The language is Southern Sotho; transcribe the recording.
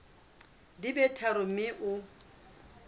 di be tharo mme o